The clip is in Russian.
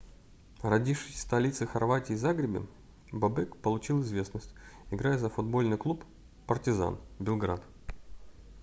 родившись в столице хорватии загребе бобек получил известность играя за футбольный клуб партизан белград